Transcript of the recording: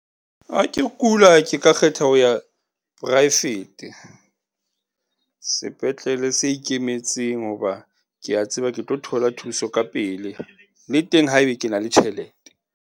Ha ke kula, ke ka kgetha ho ya poraefete sepetlele se ikemetseng. Hoba kea tseba ke tlo thola thuso ka pele le teng haeba ke na le tjhelete.